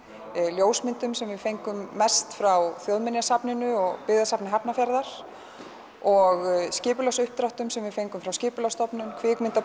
ljósmyndum sem við fengum mest frá Þjóðminjasafninu og byggðasafni Hafnarfjarðar og skipulagsuppdráttum sem við fengum frá Skipulagsstofnun